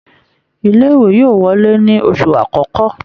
Ilé ìwé yóò wọlé ní oṣù akọkọ.